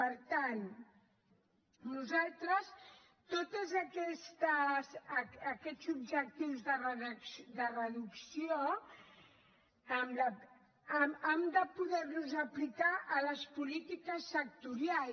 per tant nosaltres tots aquests objectius de reducció hem de poderlos aplicar a les polítiques sectorials